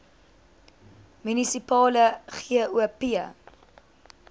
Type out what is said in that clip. munisipale gop